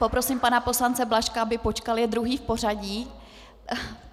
Poprosím pana poslance Blažka, aby počkal, je druhý v pořadí.